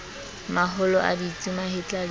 maholo a ditsu mahetla le